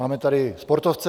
Máme tady sportovce.